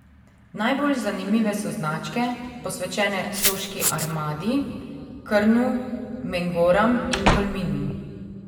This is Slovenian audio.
Najbolj zanimive so značke, posvečene soški armadi, Krnu, Mengoram in Tolminu.